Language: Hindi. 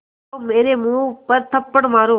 तो मेरे मुँह पर थप्पड़ मारो